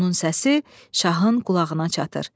Onun səsi şahın qulağına çatır.